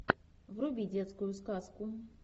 вруби детскую сказку